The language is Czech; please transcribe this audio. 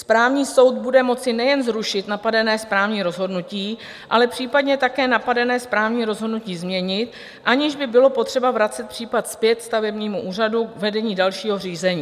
Správní soud bude moci nejen zrušit napadené správní rozhodnutí, ale případně také napadené správní rozhodnutí změnit, aniž by bylo potřeba vracet případ zpět stavebnímu úřadu k vedení dalšího řízení.